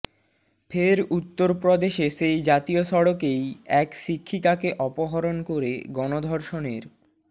ফের উত্তরপ্রদেশে সেই জাতীয় সড়কেই এক শিক্ষিকাকে অপহরণ করে গণধর্ষণের